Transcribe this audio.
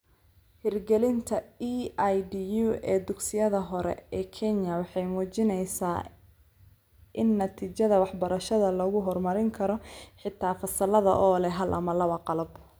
Hirgelinta EIDU ee dugsiyada hore ee Kenya waxay muujinaysaa in natiijada waxbarashada lagu horumarin karo xitaa fasallada oo leh hal ama laba qalab